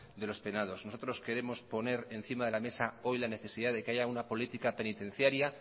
de los penados nosotros queremos poner encima de la mesa hoy la necesidad de que haya una política penitenciaria